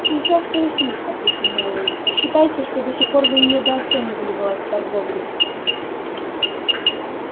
сейчас прояснит ответил мэллоу считайте что до сих пор вы недооценивали власть торговли